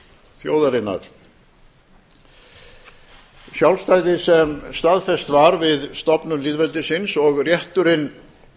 þjóðarinnar og sjálfstæðið sem staðfest var við stofnun lýðveldisins og rétturinn